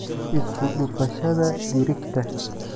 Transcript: Isku dhufashada digirta.